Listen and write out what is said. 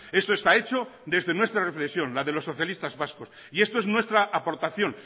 esto está hecho desde nuestra reflexión la de los socialistas vascos y esto es nuestra aportación